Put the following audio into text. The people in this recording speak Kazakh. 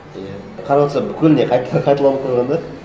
иә қарап отырсаң бүкіліне қайталанып қойған да